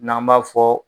N'an b'a fɔ